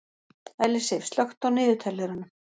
Ellisif, slökktu á niðurteljaranum.